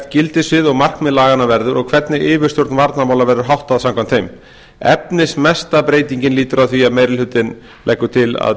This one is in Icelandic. gildissvið og markmið laganna verður og hvernig yfirstjórn varnarmála verður háttað samkvæmt þeim efnismesta breytingin lýtur að því að meiri hlutinn leggur til að